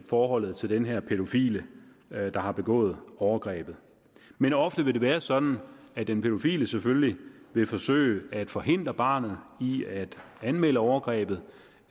forholdet til den her pædofile der har begået overgrebet men ofte vil det være sådan at den pædofile selvfølgelig vil forsøge at forhindre barnet i at anmelde overgrebet